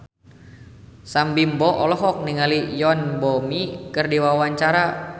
Sam Bimbo olohok ningali Yoon Bomi keur diwawancara